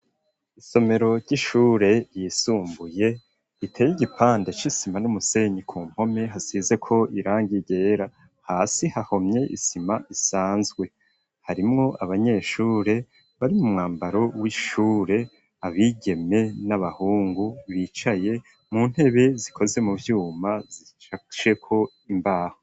Isomero ry'ishure ryisumbuye riteye igipande c'isima n'umusenyi, ku mpome hasizeko irangi ryera, hasi hahomye isima isanzwe, harimwo abanyeshure bari mu mwambaro w'ishure, abigeme n'abahungu bicaye mu ntebe zikoze mu vyuma zishasheko imbaho.